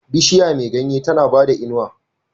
Bishiya me ganye tAna bada inuwa